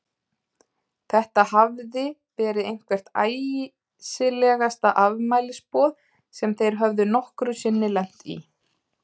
Þetta hafði verið eitthvert æsilegasta afmælisboð sem þeir höfðu nokkru sinni lent í.